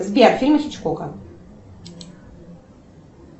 сбер фильмы хичкока